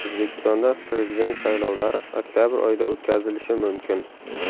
O‘zbekistonda Prezident saylovlari oktabr oyida o‘tkazilishi mumkin.